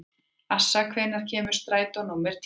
Assa, hvenær kemur strætó númer tíu?